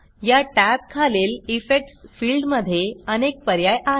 या टॅब खालील इफेक्ट्स फिल्डमध्ये अनेक पर्याय आहेत